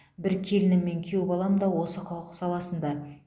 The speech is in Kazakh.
бір келінім мен күйеу балам да осы құқық саласында